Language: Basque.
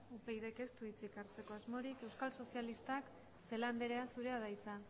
upydk ez du hitzik hartzeko asmorik euskal sozialistak celaá andrea zurea da hitza